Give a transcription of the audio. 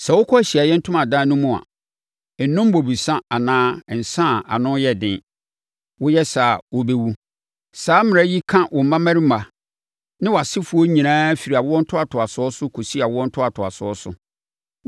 “Sɛ wokɔ Ahyiaeɛ Ntomadan no mu a, nnom bobesa anaa nsã a ano yɛ den. Woyɛ saa a, wobɛwu. Saa mmara yi ka wo mmammarima ne wʼasefoɔ nyinaa firi awoɔ ntoatoasoɔ so kɔsi awoɔ ntoatoasoɔ so.